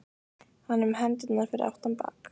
Hann er með hendurnar fyrir aftan bak.